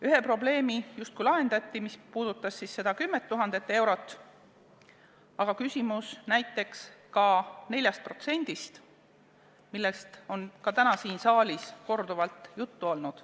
Üks probleem justkui lahendati, mis puudutas seda 10 000 eurot, aga jääb küsimus näiteks 4%-st, millest on samuti täna siin saalis korduvalt juttu olnud.